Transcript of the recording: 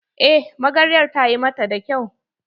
Eh magaryar ta yi mata da kyau.